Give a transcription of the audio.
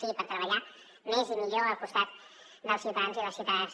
sí per treballar més i millor al costat dels ciutadans i les ciutadanes